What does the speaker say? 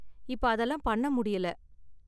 இப்ப அதெல்லாம் பண்ண முடியல